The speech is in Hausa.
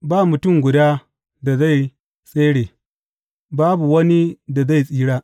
Ba mutum guda da zai tsere, babu wani da zai tsira.